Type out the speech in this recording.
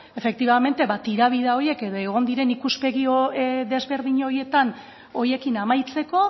tirabira horiek edo egon diren ikuspegi desberdin horiekin amaitzeko